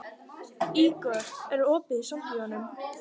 Ígor, er opið í Sambíóunum?